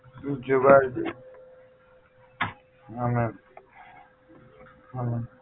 જેવા જ હા મેમ હા મેમ